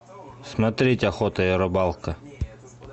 смотреть охота и рыбалка